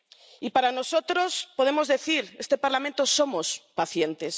Y para nosotros podemos decir En este Parlamento somos pacientes.